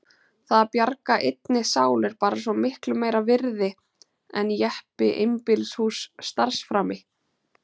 Það að bjarga einni sál er bara svo miklu meira virði en jeppi, einbýlishús, starfsframi.